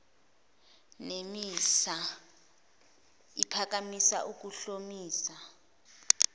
nemisa iphakamisa ukuhlomisa